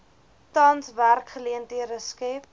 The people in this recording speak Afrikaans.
tans werksgeleenthede skep